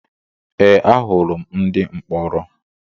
Ee ahụrụ m ndị mkpọrọ